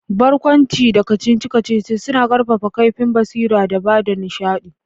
Barkwanci da kacici-kacici suna kaifafa kaifin basira da ba da nishadi.